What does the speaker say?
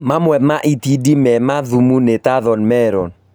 Mamwe ma itindiĩ mema thimũ nĩ ta Thorny melon